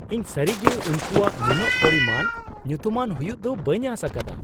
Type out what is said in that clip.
ᱤᱧ ᱥᱟᱹᱨᱤᱜᱮ ᱩᱱᱠᱩᱣᱟᱜ ᱱᱩᱱᱟᱹᱜ ᱯᱚᱨᱤᱢᱟᱱ ᱧᱩᱛᱩᱢᱟᱱ ᱦᱩᱭᱩᱜ ᱫᱚ ᱵᱟᱹᱧ ᱟᱸᱥ ᱟᱠᱟᱫᱟ ᱾